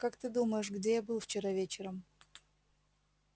как ты думаешь где я был вчера вечером